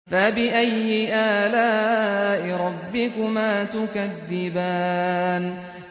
فَبِأَيِّ آلَاءِ رَبِّكُمَا تُكَذِّبَانِ